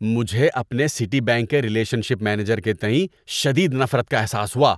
مجھے اپنے Citibank کے ریلیشن شپ مینیجر کے تئیں شدید نفرت کا احساس ہوا